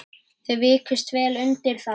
Þau vikust vel undir það.